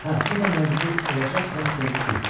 Hə, o da məcbur olacaq rədd olub getsin.